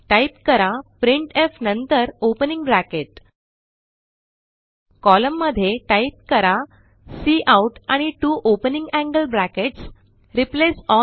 type करा प्रिंटफ नंतरopening ब्रॅकेट कोलम्न मध्ये टाईप करा काउट आणि त्वो ओपनिंग एंगल ब्रॅकेट्स क्वोटल्टल्टकोट